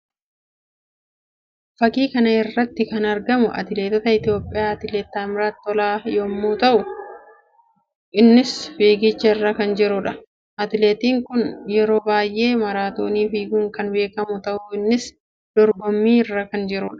Fakkii kana irratti kan argamu atileetii Itoophiyaa atileeti Taammiraat Tolaa yammuu ta'u; innis fiigicha irra kan jiruudha. Atileetiin kun yeroo baayyee maraatoonii fiiguun kan beekamuu dha. Innis dorgommii irra kan jiruu dha.